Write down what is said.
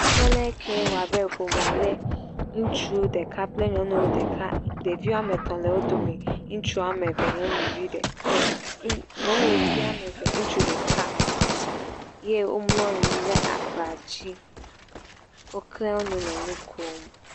Teƒe le ke woabe ƒomea le, ŋutsu ɖeka kple nyɔnu ɖeka ɖeiwoame etɔ̃ le wo dome, ŋutsu woame nyɔnuvi ɖe eƐ ŋu..nyɔnuvi woame eve ŋutsuvi ɖeka eye womlɔ anyi ɖe aba dzi, woklẽ nu le nu kom.